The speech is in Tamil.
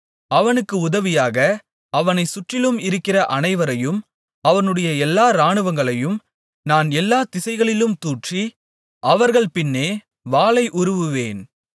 அவனுக்கு உதவியாக அவனைச் சுற்றிலும் இருக்கிற அனைவரையும் அவனுடைய எல்லா இராணுவங்களையும் நான் எல்லா திசைகளிலும் தூற்றி அவர்கள் பின்னே வாளை உருவுவேன்